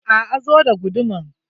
A'a, zo da guduman.